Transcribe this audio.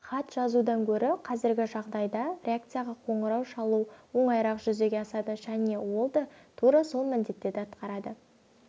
хат жазудан гөрі қазіргі жағдайда редакцияға қоңырау шалу оңайырақ жүзеге асады және ол да тура сол міндеттерді атқарады